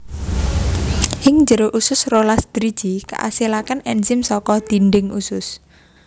Ing njero usus rolas driji kaasilaké ènzim saka dhindhing usus